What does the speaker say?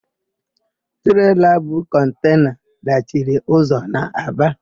Treela bu kọntena dachiri ụzọ n'Aba.